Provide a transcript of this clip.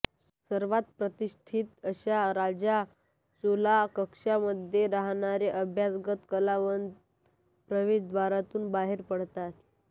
सर्वांत प्रतिष्ठित अशा राजा चोला कक्षामध्ये राहणारे अभ्यागत वल्लवन प्रवेशद्वारातून बाहेर पडतात